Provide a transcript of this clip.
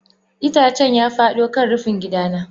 Itacen ya fado kan rufin gidana.